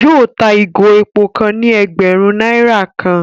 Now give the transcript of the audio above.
Yóò tá ìgò èpò kàn ni ẹgbẹrun náírà kàn